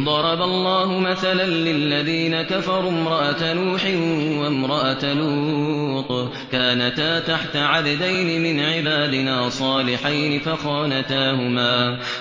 ضَرَبَ اللَّهُ مَثَلًا لِّلَّذِينَ كَفَرُوا امْرَأَتَ نُوحٍ وَامْرَأَتَ لُوطٍ ۖ كَانَتَا تَحْتَ عَبْدَيْنِ مِنْ عِبَادِنَا صَالِحَيْنِ